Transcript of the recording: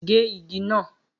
Gé igi náà.